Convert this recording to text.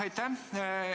Aitäh!